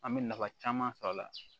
An bɛ nafa caman sɔr'a la